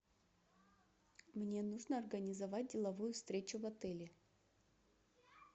мне нужно организовать деловую встречу в отеле